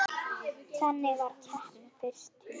Þannig varð keppnin fyrst til.